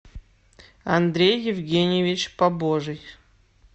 андрей евгеньевич побожий